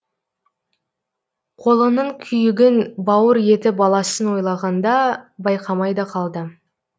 қолының күйігін бауыр еті баласын ойлағанда байқамай да қалды